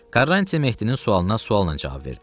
Karrantiya Mehdinin sualına sualla cavab verdi.